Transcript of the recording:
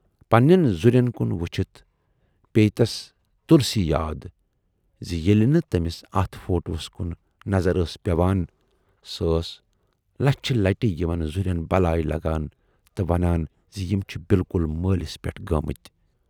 پنہٕ نٮ۪ن زُرٮ۪ن کُن وُچھِتھ پییہِ تَس تۅلسی یاد زِ ییلہِ تہِ تمِٔس اتھ فوٹوہَس کُن نظر ٲس پٮ۪وان سۅ ٲس لچھِ لٹہِ یِمن زُرٮ۪ن بلایہِ لگان تہٕ ونان زِ یِم چھِ بِلکُل مٲلِس پٮ۪ٹھ گٲمٕتۍ۔